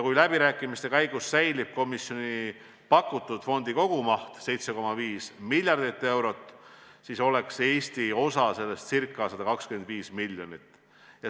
Kui läbirääkimiste käigus säilib komisjoni pakutud fondi kogumaht 7,5 miljardit eurot, siis on Eesti osa sellest ca 125 miljonit.